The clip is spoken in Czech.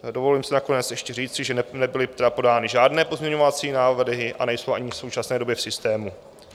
Dovolím si nakonec ještě říci, že nebyly podány žádné pozměňovací návrhy a nejsou ani v současné době v systému.